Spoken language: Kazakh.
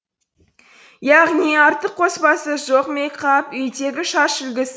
яғни артық қоспасы жоқ мейкап үйдегі шаш үлгісі